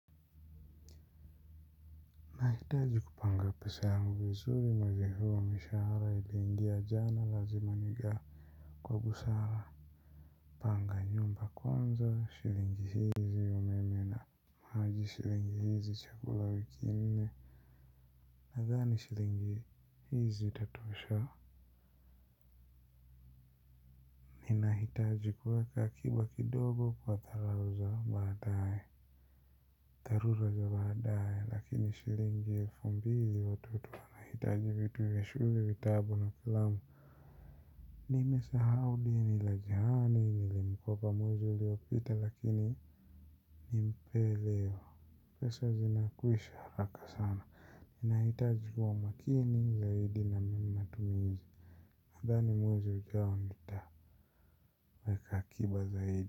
Nahitaji kupanga pesa yangu vizuri mwezi huu mishaara iliingia jana lazima nigaa kwa busara. Panga nyumba kwanza shilingi hizi umeme na maji shilingi hizi chakula wiki nne nadhani shilingi hii zitatosha ninahitaji kuweka akiba kidogo kwa tharura za badaye lakini shilingi elfu mbili watoto wanahitaji vitu vya shule vitabu na kalamu nimesahau deni la jirani nilimkopa mwezi uliopita lakini nimpee leo pesa zinakwisha haraka sana naitaji kuwa makini zaidi na mimi matumizi nadhani mwezi ujao nitaweka akiba zaidi.